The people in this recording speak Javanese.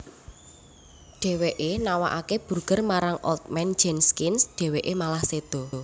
Dheweke nawakake burger marang Old Man Jenkins dheweke malah seda